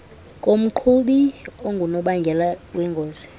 komqhubi ongunobangela wengozi